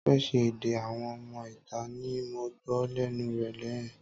Tọ́pẹ́ ṣé èdè àwọn ọmọ ìta ní mo gbó lénu rẹ yen?